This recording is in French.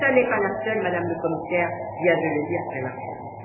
Ce n'est pas la seule, Madame la Commissaire vient de le dire très largement.